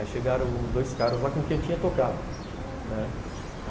Aí chegaram dois caras lá com quem eu tinha tocado, ah